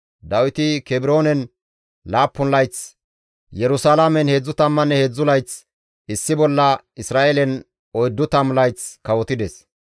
Dawiti Kebroonen 7 layth, Yerusalaamen 33 layth, issi bolla Isra7eelen 40 layth kawotides.